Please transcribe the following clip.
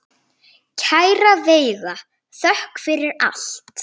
Kæra Veiga, þökk fyrir allt.